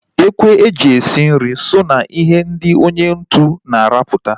Ekwu e ji esi nri so ná ihe ndị onye ntu na aruputa